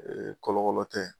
Kɔlɔ kɔlɔ tɛ.